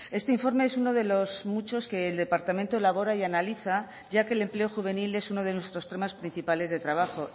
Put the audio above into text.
este informe es uno de los muchos que el departamento elabora y analiza ya que el empleo juvenil es uno de nuestros temas principales de trabajo